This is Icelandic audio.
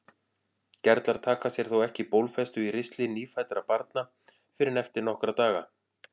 Gerlar taka sér þó ekki bólfestu í ristli nýfæddra barna fyrr en eftir nokkra daga.